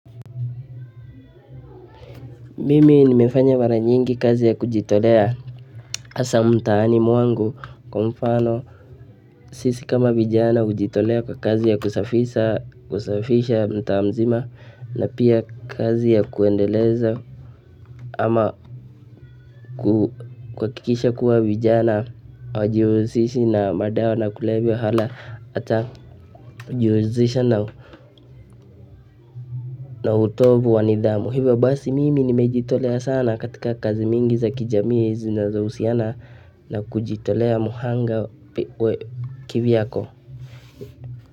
Mimi nimefanya mara nyingi kazi ya kujitolea hasa mtaani mwangu kwa mfano sisi kama vijana hujitolea kwa kazi ya kusafisha kusafisha mtaa mzima na pia kazi ya kuendeleza ama kuhakikisha kuwa vijana hawajihusishi na madawa na kulevya hala hata kujihusisha na na utovu wa nidhamu. Kwa hivyo basi mimi nimejitolea sana katika kazi mingi za kijamii zinazohusiana na kujitolea mhanga kivyako.